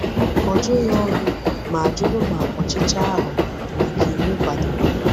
Ọ jụghị ọnụ, ma jụrụ ma ọchịchọ ahụ bụ nke iwu kwadoro.